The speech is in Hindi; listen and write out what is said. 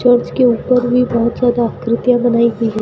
चर्च के ऊपर भी बहुत ज्यादा आकृतियां बनाई हुई हैं।